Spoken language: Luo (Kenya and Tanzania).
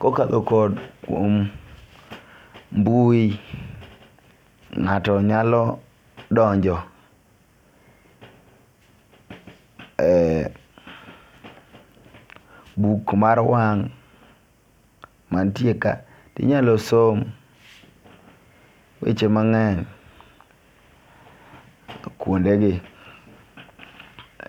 Kokadho kod omwom mbui ng'ato nyalo donjo e buk mar wang' mantie ka. Inyalo som weche mang'eny kuonde gi